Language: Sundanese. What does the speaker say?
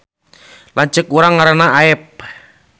Lanceuk urang ngaranna Aep